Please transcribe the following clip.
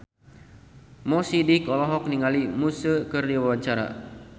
Mo Sidik olohok ningali Muse keur diwawancara